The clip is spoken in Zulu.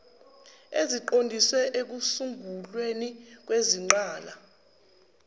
eziqondiswe ekusungulweni kwezingqala